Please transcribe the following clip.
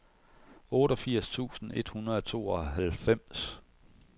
otteogfirs tusind et hundrede og tooghalvfems